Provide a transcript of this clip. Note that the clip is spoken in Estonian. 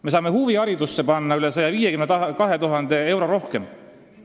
Me saame huviharidusse panna üle 152 000 euro rohkem.